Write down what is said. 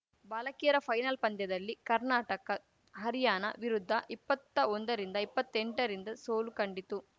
ಬಾಲಕಿಯರ ಫೈನಲ್‌ ಪಂದ್ಯದಲ್ಲಿ ಕರ್ನಾಟಕ ಹರಾರ‍ಯಣ ವಿರುದ್ಧ ಇಪ್ಪತ್ತ ಒಂದರಿಂದ ಇಪ್ಪತ್ತೆಂಟ ರಿಂದ ಸೋಲು ಕಂಡಿತು